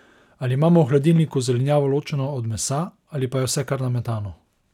Ali imamo v hladilniku zelenjavo ločeno od mesa ali pa je vse kar nametano?